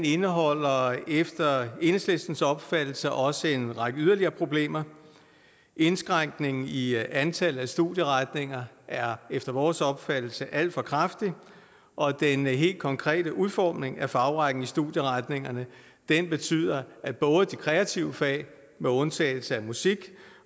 indeholder efter enhedslistens opfattelse også en række yderligere problemer indskrænkningen i antallet af studieretninger er efter vores opfattelse alt for kraftig og den helt konkrete udformning af fagrækken i studieretningerne betyder at både de kreative fag med undtagelse af musik